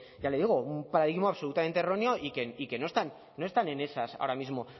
ya le digo un paradigma absolutamente erróneo y que no están en esas ahora mismo